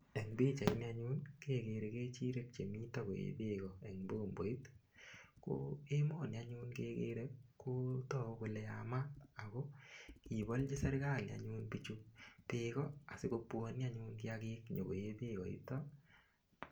Eng' pichaini anyun keker kechirek chemito koee beko eng' bomboit ko emoni anyun kekere kotoku kole yamat ako kibolji serikali anyun bichu beko asikobwoni anyun kiyakik konyikoee beko yuto